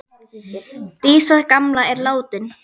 Dísa gamla er látin.